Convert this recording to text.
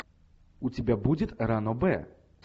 у тебя будет ранобэ